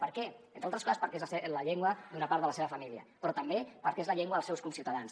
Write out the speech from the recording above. per què entre altres coses perquè és la llengua d’una part de la seva família però també perquè és la llengua dels seus conciutadans